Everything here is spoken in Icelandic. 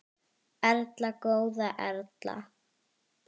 Erla góða Erla.